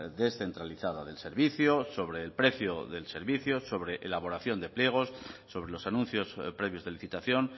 descentralizada del servicio sobre el precio del servicio sobre elaboración de pliegos sobre los anuncios previos de licitación